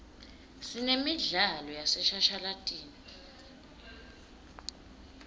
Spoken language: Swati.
sinemidlalo yaseshashalatini